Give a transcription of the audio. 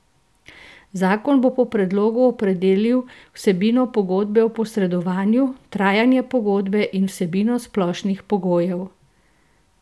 Zakon bo po predlogu opredelil vsebino pogodbe o posredovanju, trajanje pogodbe in vsebino splošnih pogojev.